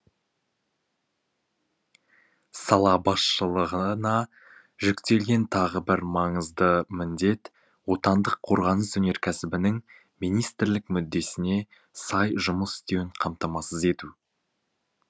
сала басшылығына жүктелген тағы бір маңызды міндет отандық қорғаныс өнеркәсібінің министрлік мүддесіне сай жұмыс істеуін қамтамасыз ету